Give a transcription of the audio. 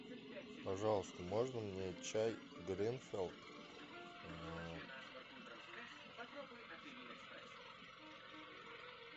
пожалуйста можно мне чай гринфилд